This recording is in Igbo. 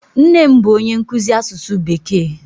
Nne m bụ onye nkụzi asụsụ bekee.